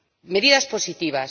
Medidas positivas.